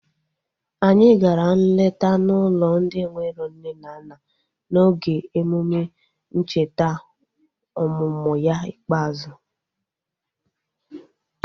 Anyị gara nleta n'ụlọ ndị enwero nne na nna n'oge emume ncheta ọmụmụ ya ikpeazụ